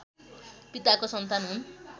पिताको सन्तान हुन्